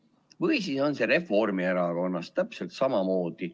Või siis on see Reformierakonnas täpselt samamoodi.